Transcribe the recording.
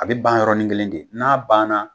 A bi ban yɔrɔ ni kelen de n'a banna